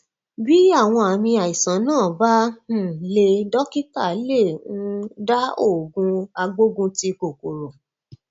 bí àwọn àmì àìsàn náà bá um le dọkítà lè um dá òògùn agbógunti kòkòrò